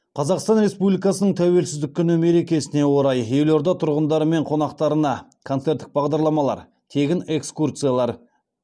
қазақстан республикасының тәуелсіздік күні мерекесіне орай елорда тұрғындары мен қонақтарына концерттік бағдарламалар